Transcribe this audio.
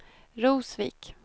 Rosvik